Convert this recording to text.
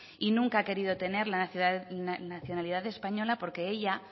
y nunca ha querido tener la nacionalidad española porque ella